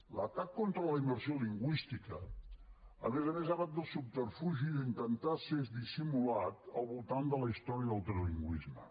l’atac contra la immersió lingüística a més a més ha anat amb el subterfugi d’intentar ser dissimulat al voltant de la història del trilingüisme